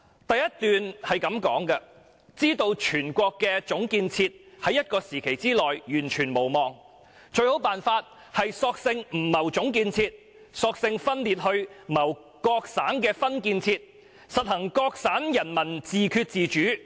第一段是這樣說的："知道全國的總建設在一個期內完全無望，最好辦法，是索性不謀總建設，索性分裂去謀各省的分建設，實行'各省人民自決主義'。